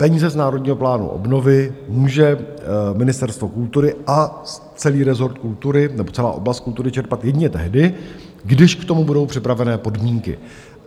Peníze z Národního plánu obnovy může Ministerstvo kultury a celý rezort kultury nebo celá oblast kultury čerpat jedině tehdy, když k tomu budou připravené podmínky.